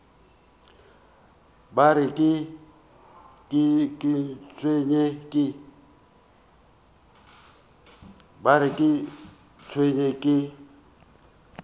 ba re ke tsenwe ke